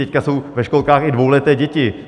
Teď jsou ve školkách i dvouleté děti.